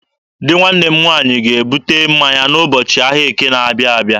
Di nwanne m nwaanyị ga-ebute mmanya n'ụbọchị ahịa Eke na-abịa abịa.